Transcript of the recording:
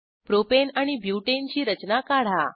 propane आणि butane ची रचना काढा